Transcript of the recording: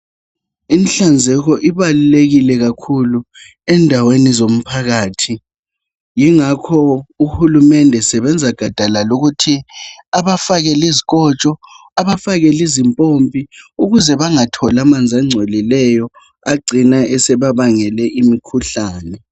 Inhlanzeko ibalulekile kakhulu endaweni zomphakathi. Yingakho uHulumende esebenza gadalala ukuthi abafakele izikotsho abafakelizimpompi ukuze bangatholi amanzi angcolileyo agcina esebabangele imikhuhlane.